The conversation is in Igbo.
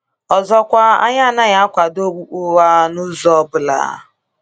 Ọzọkwa, anyị anaghị akwado okpukpe ụgha n’ụzọ ọ bụla.